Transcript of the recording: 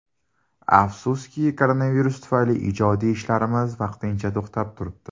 Afsuski, koronavirus tufayli ijodiy ishlarimiz vaqtincha to‘xtab turibdi.